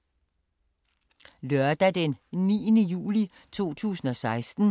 Lørdag d. 9. juli 2016